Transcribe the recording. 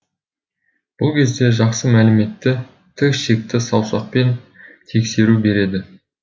бұл кезде жақсы мәліметті тік ішекті саусақпен тексеру береді